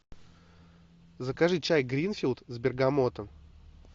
закажи чай гринфилд с бергамотом